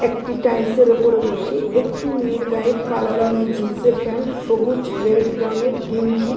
একটি টাইলস এর ওপরে বসে একটি মেয়ের গায়ে কালো রঙের জিন্স এর প্যান্ট সবুজ রেড রঙের গেঞ্জি।